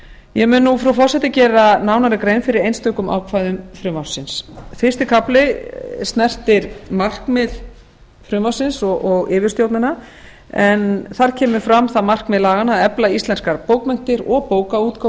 ég mun nú frú forseti gera nánari grein fyrir einstökum ákvæðum frumvarpsins fyrsti kafli snertir markmið frumvarpsins og yfirstjórnina en þar kemur fram það markmið laganna að efla íslenskar bókmenntir og bókaútgáfu